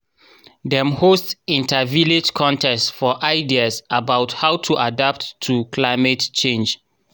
dem host inter-village contest for ideas about how to adapt to climate change